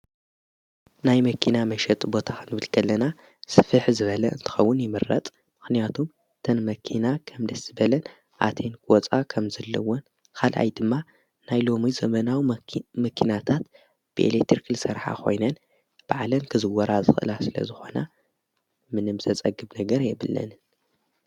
ናይ መኪና መሸጥ ቦታን ብልከለና ስፍሕ ዝበለ እንትኸውን ይምረጥ ምኽንያቱም ተን መኪና ኸም ደስቲበለን ኣቴን ክፃ ኸም ዘለውን ኻልኣይ ድማ ናይ ሎሞይ ዘመናዊ መኪናታት ብኤሌትርክል ሠርሓ ኾይነን በዕለን ክዝወራ ዝላ ስለ ዝኾና ምንም ዘጸግብ ነገር የብለንን።